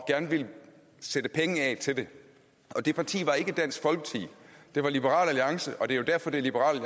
gerne ville sætte penge af til det og det parti var ikke dansk folkeparti det var liberal alliance og det er jo derfor det er liberal